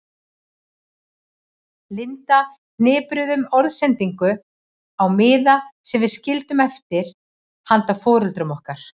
Linda hripuðum orðsendingu á miða sem við skildum eftir handa foreldrum okkar.